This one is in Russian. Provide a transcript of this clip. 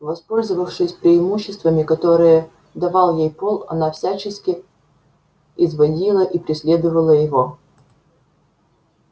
воспользовавшись преимуществами которые давал ей пол она всячески и звонила и преследовала его